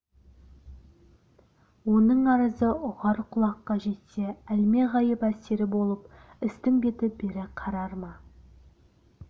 оның арызы ұғар құлаққа жетсе әлмеғайып әсері болып істің беті бері қарар ма